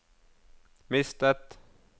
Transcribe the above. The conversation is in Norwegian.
mistet